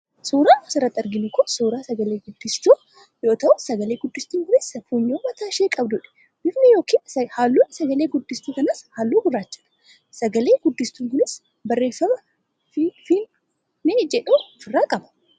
Suuraan as irratti arginu kun suuraa sagalee guddistuu yoo ta'u sagalee guddistuun kunis sagalee funyoo mataa ishee qabdudha. Bifni yookiin halluun sagalee guddistuu kanaas halluu gurraachadha. Sagalee guddistuun kunis barreeffama 'FIFINE' jedhuu ofirraa qabdi.